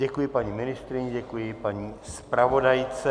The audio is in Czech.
Děkuji paní ministryni, děkuji paní zpravodajce.